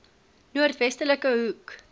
noord westelike hoek